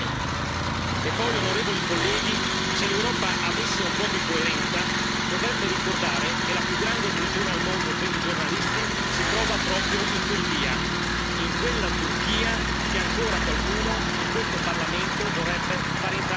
E poi, onorevoli colleghi, se l'Europa avesse un po' di coerenza dovrebbe ricordare che la più grande prigione al mondo per i giornalisti si trova proprio in Turchia, in quella Turchia che ancora qualcuno in questo Parlamento vorrebbe far entrare in Europa.